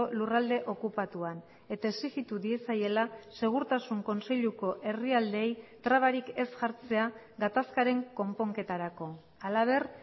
lurralde okupatuan eta exijitu diezaiela segurtasun kontseiluko herrialdeei trabarik ez jartzea gatazkaren konponketarako halaber